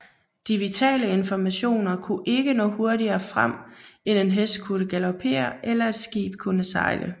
De vitale informationer kunne ikke nå hurtigere frem end en hest kunne galopere eller et skib kunne sejle